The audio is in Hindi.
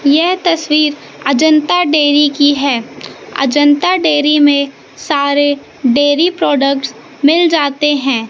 यह तस्वीर अजंता डेरी की है अजंता डेरी में सारे डेयरी प्रोडक्ट्स मिल जाते हैं।